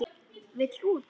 Vill út.